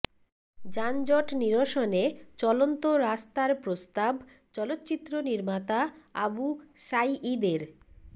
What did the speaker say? যানজট নিরসনে চলন্ত রাস্তার প্রস্তাব চলচ্চিত্র নির্মাতা আবু সাইয়ীদের